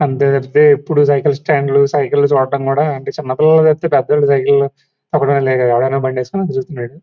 అంతే తప్పితే ఎప్పుడు సైకిల్ స్టాండ్ లు సైకిల్ లు చూద్దాం కూడా అంటే చిన్నపిల్లపుడు పేదోళ్లు సైకిల్ లు బండి ఏసుకుని చూస్తున్నాడు.